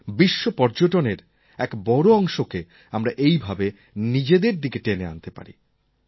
বিশ্বপর্যটনের এক বড় অংশকে আমরা এইভাবে নিজেদের দিকে টেনে নিতে পারি